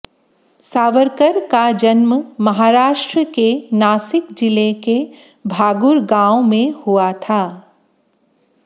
सावरकर का जन्म महाराष्ट्र के नासिक जिले के भागुर गांव में हुआ था